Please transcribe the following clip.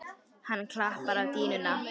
Hann klappar á dýnuna.